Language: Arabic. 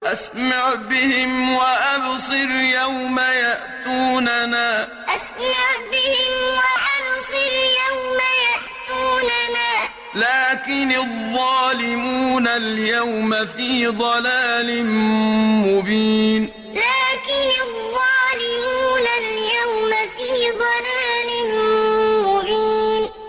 أَسْمِعْ بِهِمْ وَأَبْصِرْ يَوْمَ يَأْتُونَنَا ۖ لَٰكِنِ الظَّالِمُونَ الْيَوْمَ فِي ضَلَالٍ مُّبِينٍ أَسْمِعْ بِهِمْ وَأَبْصِرْ يَوْمَ يَأْتُونَنَا ۖ لَٰكِنِ الظَّالِمُونَ الْيَوْمَ فِي ضَلَالٍ مُّبِينٍ